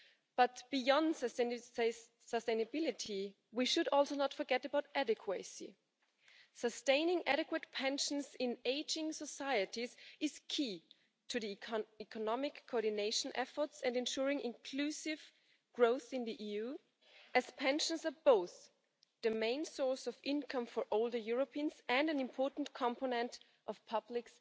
But beyond the sustainability, we should also not forget about adequacy. Sustaining adequate pensions in ageing societies is key to the economic coordination efforts and ensuring inclusive growth in the EU, as pensions are both the main source of income for older Europeans and an important component of public